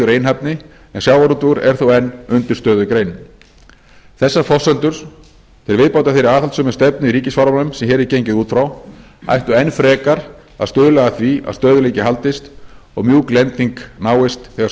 einhæfni en sjávarútvegur er þó enn undirstöðugreinin þessar forsendur til viðbótar þeirri aðhaldssömu stefnu í ríkisfjármálum sem hér er gengið út frá ættu enn frekar að stuðla að því að stöðugleiki haldist og mjúk lending náist þegar